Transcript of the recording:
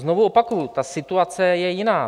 Znovu opakuji, ta situace je jiná.